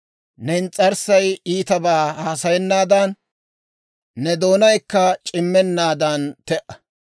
Ne ins's'arssay iitabaa haasayennaadan, ne doonaykka c'immeenaadan te"a.